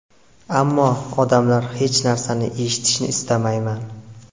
Ammo... odamlar... Hech narsani eshitishni istamayman!